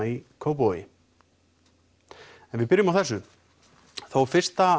í Kópavogi en við byrjum á þessu þó fyrsta